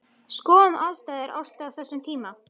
Skoðum aðstæður Ástu á þessum tíma.